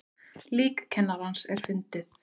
Lík kennarans fundið